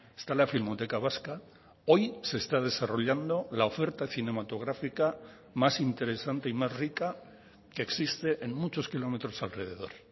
está la filmoteca vasca hoy se está desarrollando la oferta cinematográfica más interesante y más rica que existe en muchos kilómetros alrededor